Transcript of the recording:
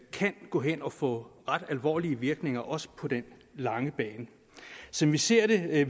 kan gå hen og få ret alvorlige virkninger også på den lange bane som vi ser det vil